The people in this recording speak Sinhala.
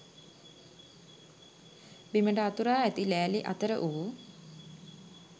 බිමට අතුරා ඇති ලෑලි අතර වූ